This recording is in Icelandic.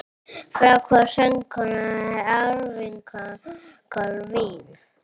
Frá hvaða landi er söngkonan Avril Lavigne?